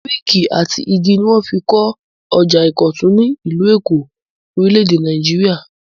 Búríkì àti igi ni wọ́n fi kọ ọjà ìkọ̀tún, ìlú Èkó, orílẹ̀-èdè Nàìjíríà.